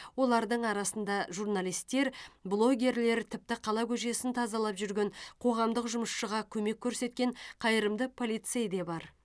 олардың арасында журналистер блогерлер тіпті қала көшесін тазалап жүрген қоғамдық жұмысшыға көмек көрсеткен қайырымды полицей де бар